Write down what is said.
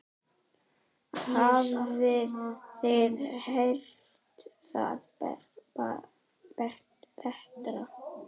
Hafið þið heyrt það betra.